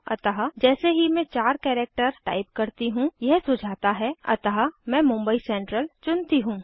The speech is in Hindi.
अतः जैसे ही मैं चार कैरेक्टर टाइप करती हूँ यह सुझाता है अतः मैं मुंबई सेंट्रल चुनती हूँ